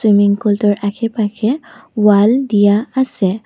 Swimming পুলটোৰ আশে-পাশে wall দিয়া আছে।